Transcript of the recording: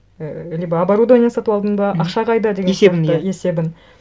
ііі либо оборудование сатып алдың ба ақша қайда деген сияқты есебін иә есебін